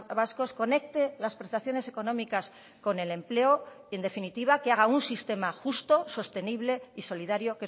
vascos conecte las prestaciones económicas con el empleo y en definitiva que haga un sistema justo sostenible y solidario